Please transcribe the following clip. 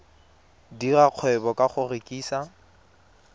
dira kgwebo ka go rekisa